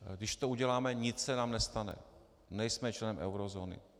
Když to uděláme, nic se nám nestane, nejsme člen eurozóny.